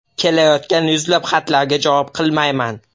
Kelayotgan yuzlab xatlarga javob qilmayman.